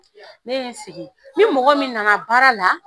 Ne ye n sigi ni mɔgɔ min na na baara la